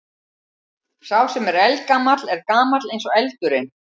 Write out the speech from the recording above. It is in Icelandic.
Sá sem er eldgamall er gamall eins og eldurinn.